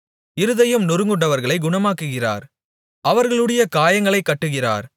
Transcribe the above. இருதயம் நொறுங்குண்டவர்களைக் குணமாக்குகிறார் அவர்களுடைய காயங்களைக் கட்டுகிறார்